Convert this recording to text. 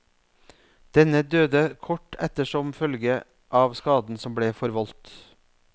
Denne døde kort etter som følge av skaden som ble forvoldt.